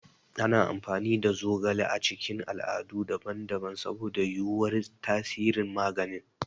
Ana amfani da zogale a cikin al'adu daban-daban saboda yuwuwar tasirin magani.